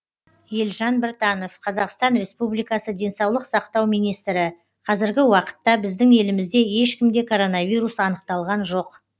елжан біртанов қазақстан республикасы денсаулық сақтау министрі қазіргі уақытта біздің елімізде ешкімде коронавирус анықталған жоқ